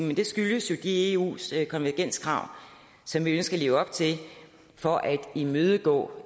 men det skyldes jo de eu konvergenskrav som vi skal leve op til for at imødegå